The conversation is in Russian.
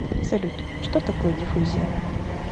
салют что такое диффузия